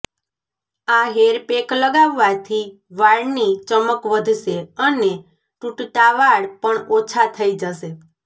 આ hair pack લગાવવાથી વાળની ચમક વધશે અને તૂટતા વાળ પણ ઓછા થઇ જશે